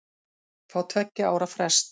Fá tveggja ára frest